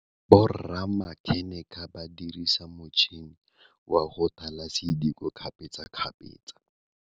Borra makheneke ba dirisa matšhine wa go thala sediko kgapetsa kgapetsa.